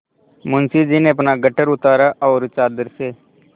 मुंशी जी ने अपना गट्ठर उतारा और चादर से